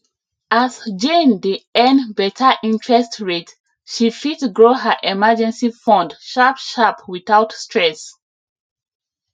as jane dey earn better interest rate she fit grow her emergency fund sharpsharp without stress